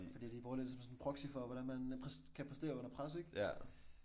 Fordi de bruger det som sådan proxy for hvordan man pres kan præstere under pres ik